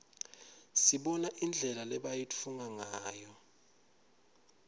sibona indlela lebayitfunga ngayo